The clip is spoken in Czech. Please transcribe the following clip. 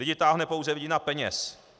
Lidi táhne pouze vidina peněz.